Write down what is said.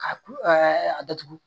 Ka ku datugu